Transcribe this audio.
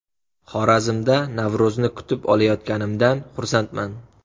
Xorazmda Navro‘zni kutib olayotganimdan xursandman.